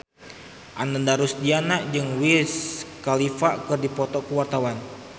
Ananda Rusdiana jeung Wiz Khalifa keur dipoto ku wartawan